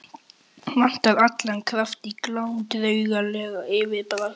Vantar allan kraft í Glám og draugalegt yfirbragð.